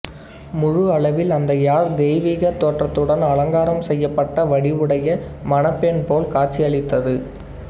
முழு அளவில் அந்த யாழ் தெய்வீகத் தோற்றத்துடன் அலங்காரம் செய்யப்பட வடிவுடைய மணப்பெண் போல் காட்சி அளித்தது